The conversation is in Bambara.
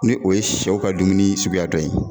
Ni o ye sɛw ka dumuni suguya dɔ ye.